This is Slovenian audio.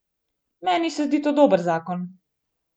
Meni se zdi to dober zakon.